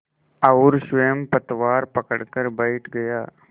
और स्वयं पतवार पकड़कर बैठ गया